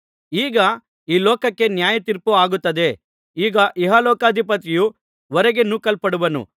ಈಗ ಈ ಲೋಕಕ್ಕೆ ನ್ಯಾಯತೀರ್ಪು ಆಗುತ್ತದೆ ಈಗ ಇಹಲೋಕಾಧಿಪತಿಯು ಹೊರಗೆ ನೂಕಲ್ಪಡುವನು